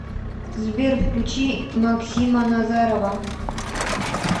сбер включи максима назарова